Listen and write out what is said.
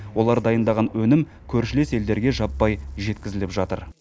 олар дайындаған өнім көршілес елдерге жаппай жеткізіліп жатыр